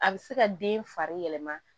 A bɛ se ka den fari yɛlɛma